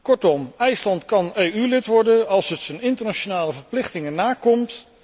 Kortom, IJsland kan lid van de EU worden als het zijn internationale verplichtingen nakomt.